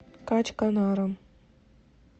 качканаром